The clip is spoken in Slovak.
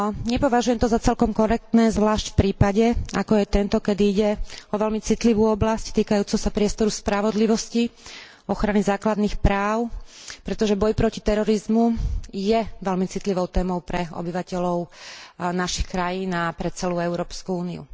Nepovažujem to za celkom korektné, zvlášť v prípade ako je tento, kedy ide o veľmi citlivú oblasť týkajúcu sa priestoru spravodlivosti, ochrany základných práv, pretože boj proti terorizmu je veľmi citlivou témou pre obyvateľov našich krajín a pre celú Európsku úniu.